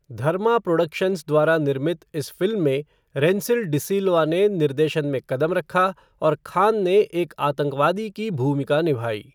धर्मा productions द्वारा निर्मित इस फ़िल्म में रेंसिल डी सिल्वा ने निर्देशन में कदम रखा और खान ने एक आतंकवादी की भूमिका निभाई।